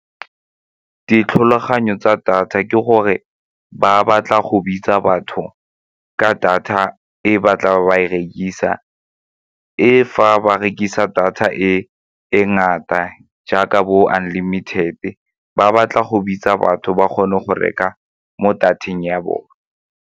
Ditlhologanyo tsa data ke gore ba batla go bitsa batho ka data e ba tlaba ba e rekisa, e fa ba rekisa data e ngata jaaka bo unlimited-te ba batla go bitsa batho ba kgone go reka mo data-eng ya bone.